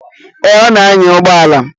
Eh, ọ na-anya ụgbọala.